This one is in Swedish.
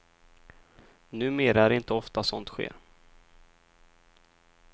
Numera är det inte ofta sånt sker.